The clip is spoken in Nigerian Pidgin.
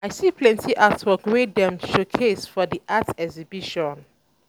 I see plenty artwork wey dem um showcase for di art exhibition.